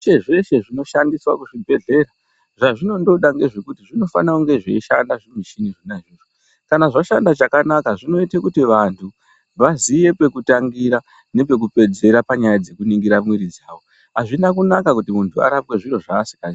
Zveshe zveshe zvinoshandiswa kuzvibhehlera zvazvinondoda ndezve kuti zvinofana kunge zveishanda zvimuchini izvonazvo kana zvashanda chakanaka zvinoita kuti vantu vaziye pekutangira nepekupedzera panyaya dzekuningira mwiri dzavo azvina kunaka kuti arapwe zviro zvasinga ziyi.